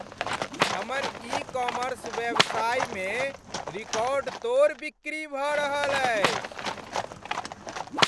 हमर e commerce व्यवसायमे record तोड़ बिक्री भऽ रहल अछि।